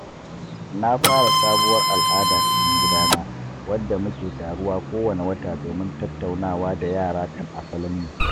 Na fara sabuwar al’ada cikin gidana wadda muke taruwa kowane wata domin tattaunawa da yara kan asalinmu.